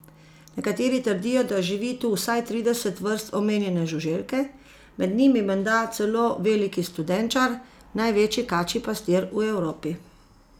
Nekateri trdijo, da živi tu vsaj trideset vrst omenjene žuželke, med njimi menda celo veliki studenčar, največji kačji pastir v Evropi.